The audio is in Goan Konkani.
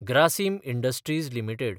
Grasim Industries limited